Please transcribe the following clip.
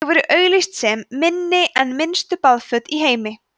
þau voru auglýst sem „minni en minnstu baðföt í heimi“